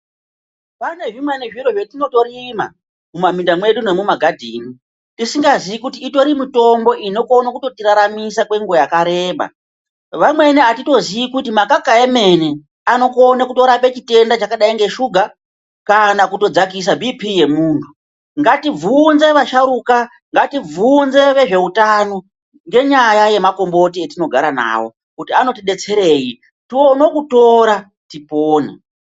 Pane zvimweni zviro zvatinotorima mumaminda mwedu nemumagadheni .Tisingazive kuti itori mitombo inokona kutotiraramisa kwenguva yakareba ..vamweni atitozivi kuti makaka emene anokona kutorapa chitenda chakadai neshuga kana kutodzakisa bipi yemuntu .Ngatibvunze vasharukwa ngatibvunze vezveutano ngenyaya yemakomboti etino gara navo kuti anotibesterei tione kutora tipone.